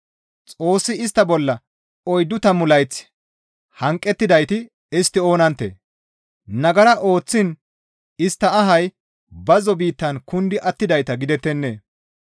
Xoossi istta bolla oyddu tammu layth hanqettidayti istti oonanttee? Nagara ooththiin istta ahay bazzo biittan kundi attidayta gidettennee?